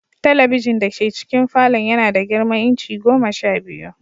Talabijin dake cikin falon yana da girman inci goma sha biyu.